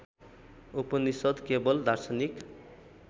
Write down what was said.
उपनिषद् केवल दार्शनिक